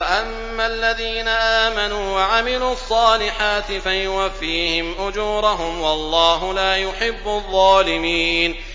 وَأَمَّا الَّذِينَ آمَنُوا وَعَمِلُوا الصَّالِحَاتِ فَيُوَفِّيهِمْ أُجُورَهُمْ ۗ وَاللَّهُ لَا يُحِبُّ الظَّالِمِينَ